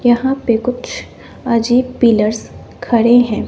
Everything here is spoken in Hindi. यहां पे कुछ अजीब पिलर्स खड़े हैं।